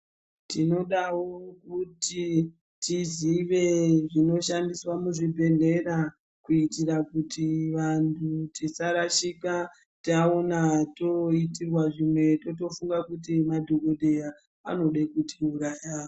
Tinodawo kuti tizive zvinoshandiswa muzvibhehlera kuitira kuti vantu tisarashika taona toitirwa zvimwe totofunga kuti madhokodheya anode kutiuraya.